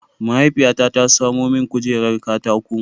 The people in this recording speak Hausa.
Mahaifiyata ta samo min kujerar katako.